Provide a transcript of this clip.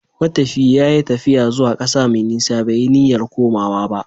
Matafiyi ya yi tafiya zuwa ƙasa mai nisa, bai yi niyyar komawa ba.